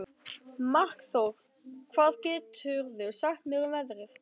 Markþór, hvað geturðu sagt mér um veðrið?